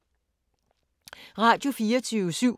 Radio24syv